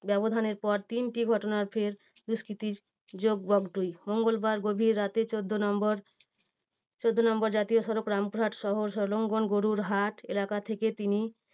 ব্যবধানের পর তিনটি ঘটনা ফের দুষ্কৃতী যোগ বগটুই। মঙ্গলবার গভীর রাতে চোদ্দ নম্বর চোদ্দ নম্বর জাতীয় সড়ক রামপুরহাট শহর সংলগ্ন গরুর হাট এলাকা থেকে তিনি